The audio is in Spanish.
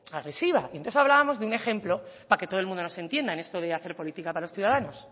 agresiva y entonces hablábamos de un ejemplo para que todo el mundo nos entienda en esto de hacer política para los ciudadanos